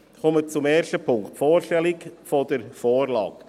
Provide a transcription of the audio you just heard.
Ich komme zum ersten Punkt, zur Vorstellung der Vorlage.